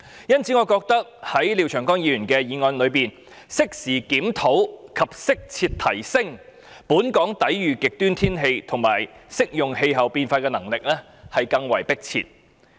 因此，我覺得在廖長江議員的議案中，加入適時檢討及適切提升本港抵禦極端天氣和應對氣候變化的能力，更為迫切。